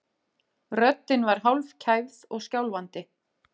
Röddin var hálfkæfð og skjálfandi.